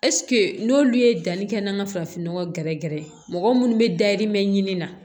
n'olu ye danni kɛ n'an ka farafin nɔgɔ gɛrɛgɛrɛ ye mɔgɔ munnu be dayirimɛ ɲini na